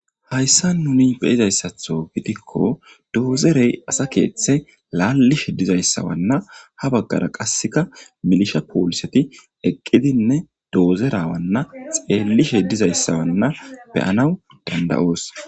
Hayissan nuni beyizayissaththo gidikko dozorey asa keththa lalishshe dizayissanne kareththa mayo mayida poliset hara gede xelishshe deettes